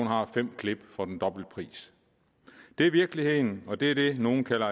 har fem klip for den dobbelte pris det er virkeligheden og det er det nogle kalder